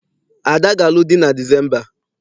Ada ga-alụ di na Disemba.